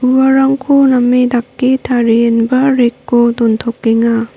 uarangko name dake tarienba rack -o dontokenga.